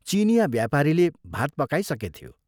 चीनियाँ व्यापारीले भात पकाइसकेथ्यो।